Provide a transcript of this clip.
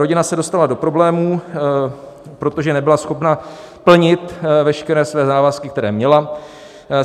Rodina se dostala do problémů, protože nebyla schopna plnit veškeré své závazky, které měla.